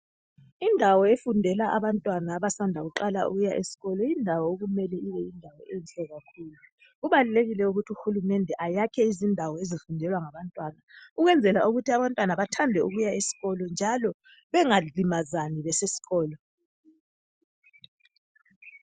Indawo efundela abantwana abasanda kuqala ukuya esikolo. Indawo le kumele ibe yindawo enhle. Kubalulekile ukuthi uhulumende ayakhe izindawo ezifundelwa ngabantwana ukwenzela ukuthi abantwana bathande ukuya esikolo njalo bengalimazani nxa besesikolo.